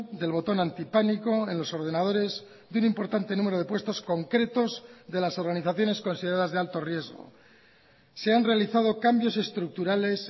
del botón antipánico en los ordenadores de un importante número de puestos concretos de las organizaciones consideradas de alto riesgo se han realizado cambios estructurales